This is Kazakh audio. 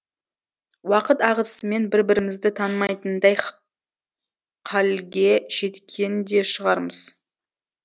уақыт ағысымен бір бірімізді танымайтындай қалге жеткен де шығармыз